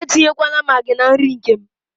Etinyekwala Maagị na nri nke m.